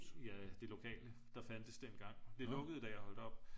ja det lokale der fandtes dengang. det lukkede da jeg holdt op